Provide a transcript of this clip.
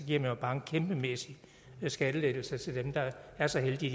jo bare en kæmpemæssig skattelettelse til dem der er så heldige